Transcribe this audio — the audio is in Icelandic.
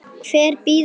Hver bíður betur?